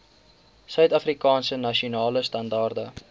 suidafrikaanse nasionale standaarde